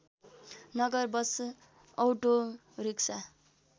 Nagar bus autorickshaw